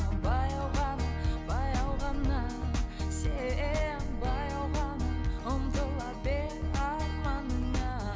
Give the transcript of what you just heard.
баяу ғана баяу ғана сен баяу ғана ұмтыла бер арманыңа